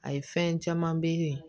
A ye fɛn caman be yen